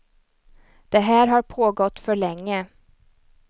Det här har pågått för länge.